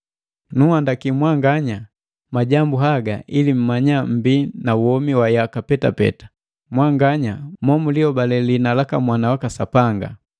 Nunhandaki mwanganya majambu haga ili mmanya mmbii na womi wa yaka petapeta, mwanganya mo mulinhobale liina laka Mwana waka Sapanga.